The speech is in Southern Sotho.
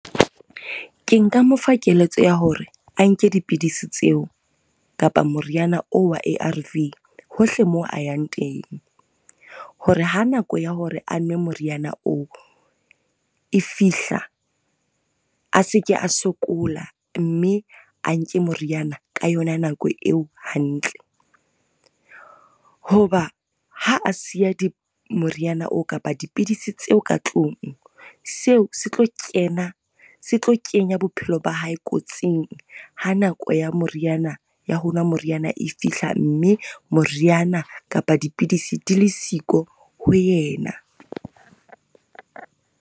Ke nka mo fa keletso ya hore a nke dipidisi tseo kapa moriana oo wa A_R_V hohle moo a yang teng. Hore ha nako ya hore a nwe moriana oo e fihla, a seke a sokola mme a nke moriana ka yona nako eo hantle. Ho ba ha a siya moriana oo kapa dipidisi tseo ka tlung, seo setlo kena, se tlo kenya bophelo ba hae kotsing ha nako ya moriana, ya ho nwa moriana e fihla mme moriana kapa dipidisi di le siko ho yena.